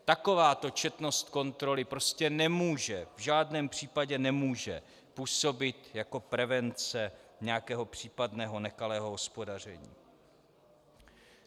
Takováto četnost kontroly prostě nemůže, v žádném případě nemůže, působit jako prevence nějakého případného nekalého hospodaření.